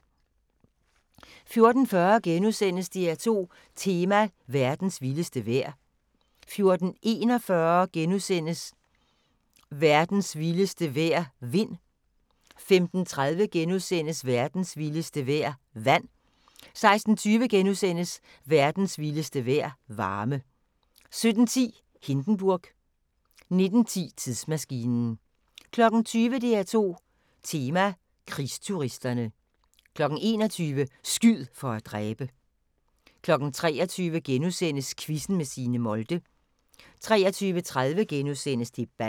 14:40: DR2 Tema: Verdens vildeste vejr * 14:41: Verdens vildeste vejr – vind * 15:30: Verdens vildeste vejr – vand * 16:20: Verdens vildeste vejr – varme * 17:10: Hindenburg 19:10: Tidsmaskinen 20:00: DR2 Tema: Krigsturisterne 21:00: Skyd for at dræbe! 23:00: Quizzen med Signe Molde * 23:30: Debatten *